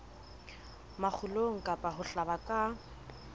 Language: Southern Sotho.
makgulong kapa ho hlaba ka